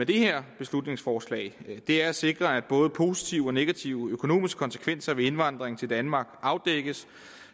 det her beslutningsforslag er at sikre at både positive og negative økonomiske konsekvenser ved indvandring til danmark afdækkes